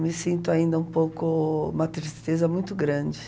Me sinto ainda um pouco... Uma tristeza muito grande.